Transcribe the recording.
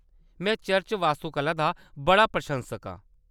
में चर्च वास्तुकला दा बड़ा प्रशंसक आं।